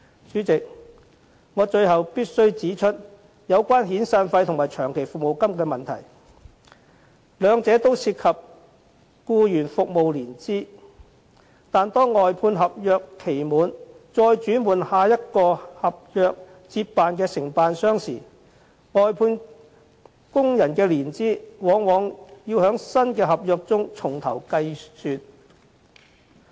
主席，最後我必須指出有關遣散費和長期服務金的問題，兩者均涉及僱員服務年資，但當外判合約期滿後轉換另一合約承辦商接辦服務時，外判工人的年資往往要在新合約中重新計算。